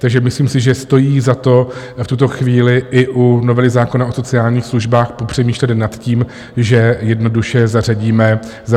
Takže si myslím, že stojí za to v tuto chvíli i u novely zákona o sociálních službách popřemýšlet nad tím, že jednoduše zařadíme pětku.